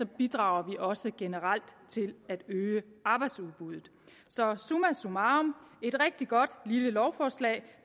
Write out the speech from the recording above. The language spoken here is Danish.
bidrager vi også generelt til at øge arbejdsudbuddet så summa summarum et rigtig godt lille lovforslag